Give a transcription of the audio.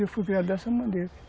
Eu fui criado dessa maneira.